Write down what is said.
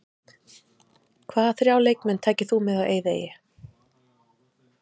Hvaða þrjá leikmenn tækir þú með á eyðieyju?